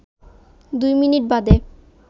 দুই মিনিট বাদে